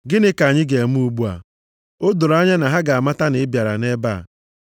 Gịnị ka anyị ga-eme ugbu a? O doro anya na ha ga-amata na ị bịara nʼebe a.